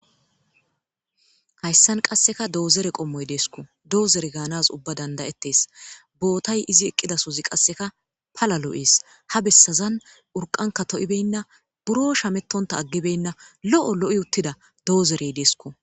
hayssan qasseka doozere qommoy deesko doozere gaanas ubba dandayettees bootay izi eqqida sohoyi qasseka pala lo7ees ha bessazan urqanka to7ibenna buro shamettonta aggibenna lo7o lo7i uttida do7ozerey deesko